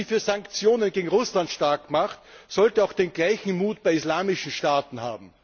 Wer sich für Sanktionen gegen Russland starkmacht, sollte auch den gleichen Mut bei islamischen Staaten haben!